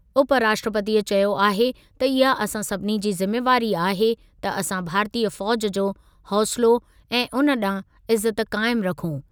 उपराष्ट्रपती चयो आहे त इहा असां सभिनी जी ज़िमेवारी आहे त असां भारतीय फ़ौज़ जो हौसिलो ऐं उन ॾांहुं इज़त क़ाइमु रखूं।